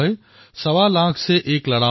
সৱা লাখ সে এক লড়াও